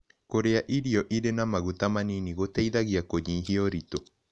Kũrĩa irio ĩrĩ ma magũta manĩnĩ gũteĩthagĩa kũnyĩhĩa ũrĩtũ